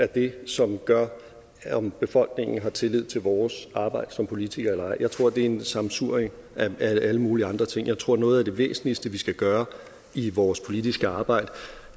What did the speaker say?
det som gør om befolkningen har tillid til vores arbejde som politikere eller ej jeg tror at det er et sammensurium af alle mulige andre ting jeg tror at noget af det væsentligste vi skal gøre i vores politiske arbejde